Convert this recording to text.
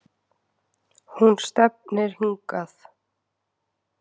Hún stefnir hingað